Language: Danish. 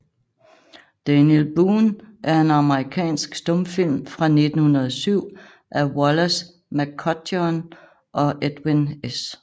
Daniel Boone er en amerikansk stumfilm fra 1907 af Wallace McCutcheon og Edwin S